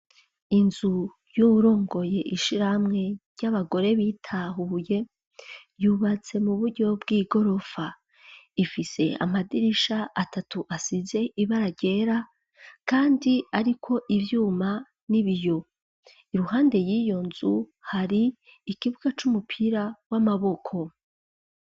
Inzu y'uwurongoye ishirahamwe ry'abagore bitahuye yubatse mu buryo bw'igorofa : ifise amadirisha atatu asize ibara ryera kandi ariko ivyuma n'ibiyo. Iruhande y'iyo nzu hari ikibuga c'umupira w'amaboko.